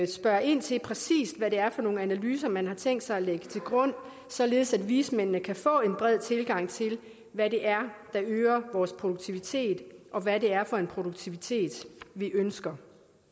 spørge ind til præcis hvad det er for nogle analyser man har tænkt sig at lægge til grund således at vismændene kan få en bred tilgang til hvad det er der øger vores produktivitet og hvad det er for en produktivitet vi ønsker